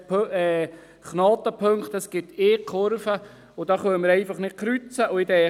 Es gibt Knotenpunkte, und es gibt eine Kurve, wo wir nicht kreuzen können.